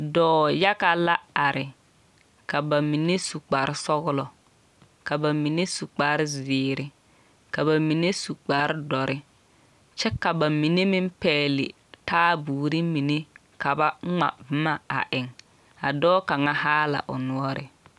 Dͻͻ yaga la are, ka ba mine su kpare sͻgelͻ, ka ba mine su kpare zeere, ka ba mine su kpare dͻre kyԑ ka ba mine meŋ pԑgele taaboore mine ka ba ŋma boma a eŋ. A dͻͻ kaŋa haa la o noͻre.